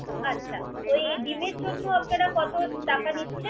আচ্ছা ওই ডিমের জন্য আপনারা কত টাকা নিচ্ছেন।